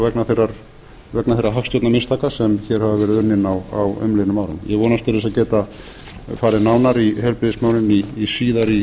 vegna þeirra hagstjórnarmistaka sem hér hafa verið unnin á umliðnum árum ég vonast til þess að geta farið nánar í heilbrigðismálin síðar